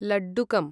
लड्डुकम्